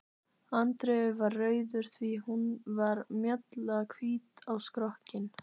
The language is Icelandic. Andreu var rauður því hún var mjallahvít á skrokkinn.